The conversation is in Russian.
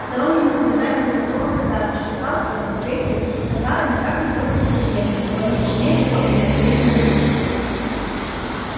стороннему наблюдателю могло показаться что тарлтоны встретились с охара никак не после двухдневной а по меньшей мере после многолетней разлуки